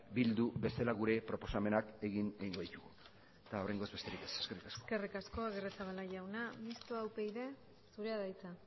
bildu bezala gure proposamenak egin egingo ditugu eta oraingoz besterik ez eskerrik asko eskerrik asko agirrezabala jauna mistoa upyd zurea da hitza